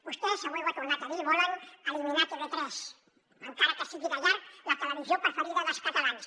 vostès avui ho ha tornat a dir volen eliminar tv3 encara que sigui de llarg la televisió preferida dels catalans